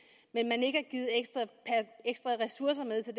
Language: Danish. men ikke har givet ekstra ressourcer med til